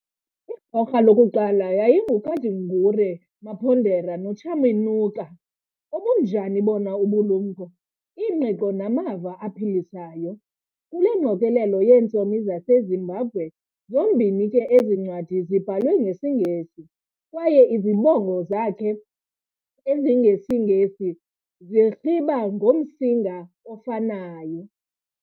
Igorha lokuqala yayinguKadungure Mapondera noChaminuka, obunjani bona ubulumko, ingqiqo namava aphilisayo, kule ngqokolela yeentsomi zaseZimbabwe, zombini ke ezincwadi zibhalwe ngesiNgesi, kwaye izibongo zakhe ezingeNgesi zirhiba ngomsinga ofanayo.